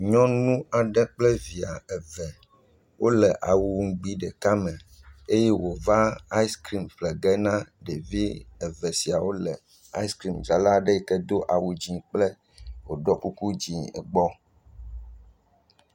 Nyɔnu aɖe kple via eve wole awu nugbi ɖeka me eye wòva aɛskrim ƒle ge na ɖevi eve siawo le aɛskrimdzrala aɖe yi ke do awu dzɛ̃kple wòɖɔ kuku dzɛ̃gbɔ.